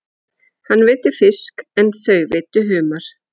Hann veiddi fisk en þau veiddu humar.